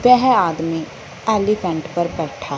वेह आदमी एलीफेंट पर बैठा--